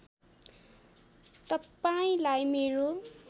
तपाईँलाई मेरो